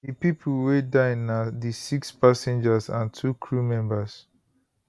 di pipo wey die na di six passengers and two crew members